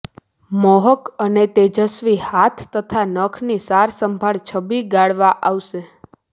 મોહક અને તેજસ્વી હાથ તથા નખની સાજસંભાળ છબી ગાળવા આવશે